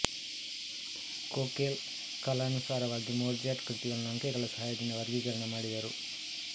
Köchel ಕಲಾನುಸಾರವಾಗಿ Mozart ಕೃತಿಗಳನ್ನು ಅಂಕೆಗಳ ಸಹಾಯದಿಂದ ವರ್ಗೀಕರಣ ಮಾಡಿದರು